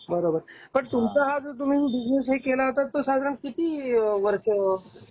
बरोबर. पण तुम्ही पण हा जो तुम्ही बीजनेस हे केला होता तो साधारण किती वर्ष